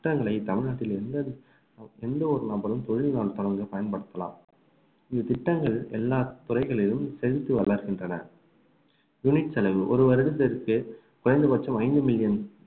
திட்டங்களை தமிழ்நாட்டில் எந்த எந்த ஒரு நபரும் பயன்படுத்தலாம் இத்திட்டங்கள் எல்லா துறைகளிலும் செழித்து வளர்கின்றன unit செலவு ஒரு வருடத்திற்கு குறைந்த பட்சம் ஐந்து மில்லியன்